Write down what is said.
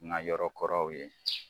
Nka yɔrɔ kɔrɔw ye.